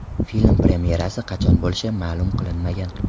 Film premyerasi qachon bo‘lishi ma’lum qilinmagan.